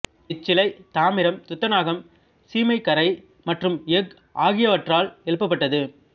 இச்சிலை தாமிரம் துத்தநாகம் சீமைக்காரை மற்றும் எஃகு ஆகியவற்றால் எழுப்பப்பட்டது